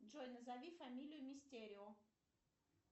джой назови фамилию мистерио